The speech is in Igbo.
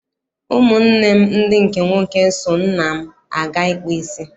Ụmụ nne m ndị nwoke so nna m aga ịkpụ isi.